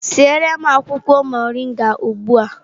Siere m akwụkwọ mọrịnga ugbu a!